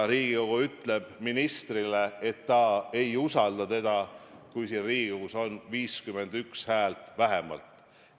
Riigikogu ütleb ministrile, et ta ei usalda teda, kui Riigikogus on selleks antud vähemalt 51 häält.